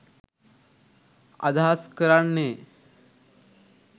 අදහස් කරන්නේ